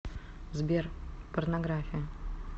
сбер порнография